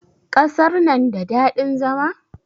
Ƙasar na da daɗin zama?